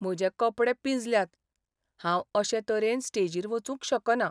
म्हजे कपडे पिंजल्यात. हांव अशे तरेन स्टेजीर वचूंक शकना.